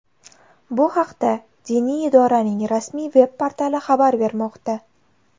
Bu haqda diniy idoraning rasmiy veb-portali xabar bermoqda .